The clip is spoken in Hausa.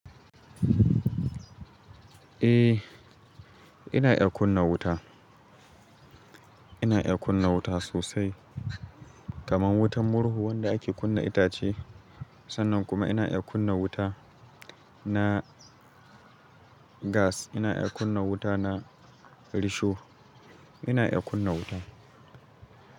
Eh, ina iya kunna wuta. Ina iya kunna wuta sosai kamar wutar murhu wanda ake kunna itace. Sannan kuma ina iya kunna wuta na gas. Ina iya kunna wuta na risho. Ina iya kunna wuta.